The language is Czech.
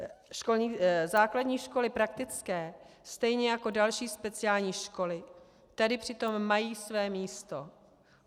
Základní školy praktické stejně jako další speciální školy tady přitom mají své místo.